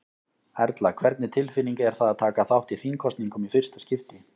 Erla: Hvernig tilfinning er það að taka þátt í þingkosningum í fyrsta skipti?